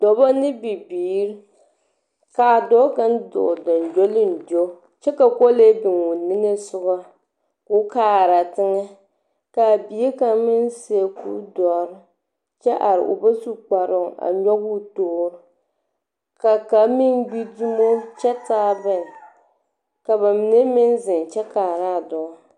Dɔbɔ ne bibiiri, kaa dɔɔ kaŋ dɔɔ gyoŋgyoliŋgyo, kyɛ ka kolee biŋ o niŋesogɔ, koo kaara teŋɛ, kaa bie kaŋ meŋ seɛ kuri dɔre kyɛ are o ba su kparoo, a nyɔge o toori, ka kaŋ meŋ gbi dumo kyɛ taa gbɛɛ, ka ba mine meŋ zeŋ kyɛ kaaraa dɔɔ.